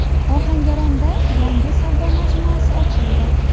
Ohangaronda yangi savdo majmuasi ochildi.